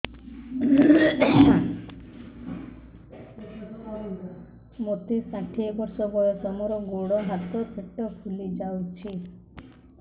ମୋତେ ଷାଠିଏ ବର୍ଷ ବୟସ ମୋର ଗୋଡୋ ହାତ ପେଟ ଫୁଲି ଯାଉଛି